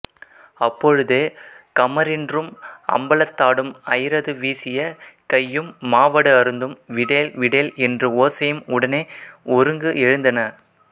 அப்பொழுது கமரின்றும் அம்பலத்தாடும் ஐயரது வீசிய கையும் மாவடு அருந்தும் விடேல் விடேல் என்று ஓசையும் உடனே ஒருங்கு எழுந்தன